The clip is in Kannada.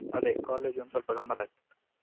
ಅದೇ college ಒಂದ್ಸ್ವಲ್ಪ ಗಮ್ಮತಾಗ್ತಿತ್ತು.